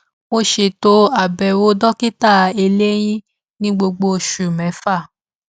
mo ṣètò àbẹwò dokita eléyín ní gbogbo oṣù mẹfà